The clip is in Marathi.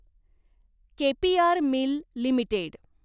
K P R mill limited